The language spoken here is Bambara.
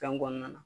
Fɛn kɔnɔna na